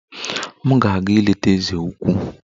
M na-aga ileta eze ukwu